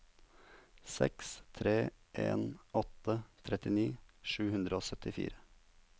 seks tre en åtte trettini sju hundre og syttifire